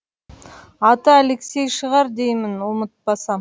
аты алексей шығар деймін ұмытпасам